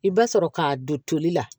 I b'a sɔrɔ k'a don toli la